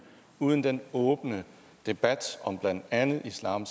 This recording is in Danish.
uden den åbne debat om blandt andet islam